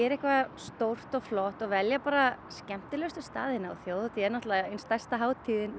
eitthvað stórt og flott og velja bara skemmtilegustu staðina og þjóðhátíð er bara ein stærsta hátíðin